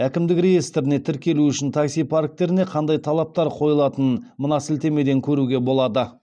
әкімдік реестріне тіркелу үшін такси парктеріне қандай талаптар қойылатынын мына сілтемеден көруге болады